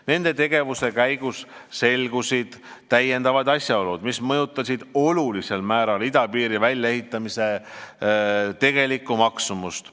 Nende tegevuste käigus selgusid täiendavad asjaolud, mis mõjutasid olulisel määral idapiiri väljaehitamise tegelikku maksumust.